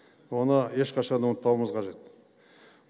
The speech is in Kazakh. оны ешқашан ұмытпауымыз қажет